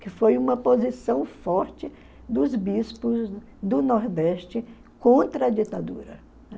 que foi uma posição forte dos bispos do Nordeste contra a ditadura.